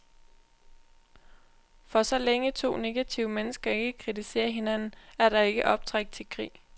For så længe to negative mennesker ikke kritiserer hinanden, er der ikke optræk til krig.